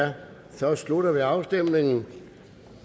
så slutter vi afstemningen